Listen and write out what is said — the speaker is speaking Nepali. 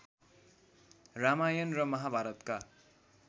रामायण र महाभारतका